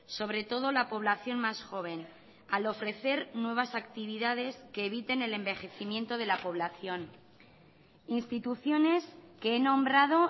sobre todo la población más joven al ofrecer nuevas actividades que eviten el envejecimiento de la población instituciones que he nombrado